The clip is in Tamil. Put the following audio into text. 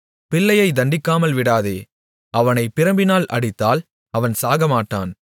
பிள்ளையை தண்டிக்காமல் விடாதே அவனைப் பிரம்பினால் அடித்தால் அவன் சாகமாட்டான்